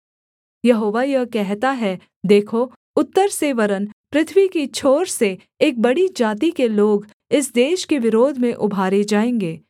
यहोवा यह कहता है देखो उत्तर से वरन् पृथ्वी की छोर से एक बड़ी जाति के लोग इस देश के विरोध में उभारे जाएँगे